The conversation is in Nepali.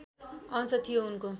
अंश थियो उनको